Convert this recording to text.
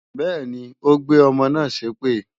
Bẹ́ẹ̀ni, ó gbé ọmọ náà ṣépè